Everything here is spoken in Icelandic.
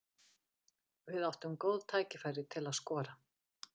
Við áttum góð tækifæri til að skora.